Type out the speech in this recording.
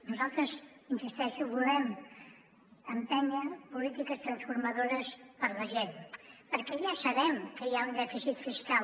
nosaltres hi insisteixo volem empènyer polítiques transformadores per a la gent perquè ja sabem que hi ha un dèficit fiscal